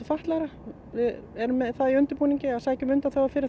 fatlaðra vIð erum með það í undirbúningi að sækja um undanþágu fyrir